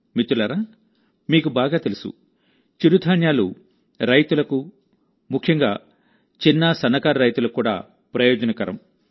మిత్రులారామీకు బాగా తెలుసుచిరుధాన్యాలు రైతులకు ముఖ్యంగా చిన్న రైతులకు కూడా ప్రయోజనకరం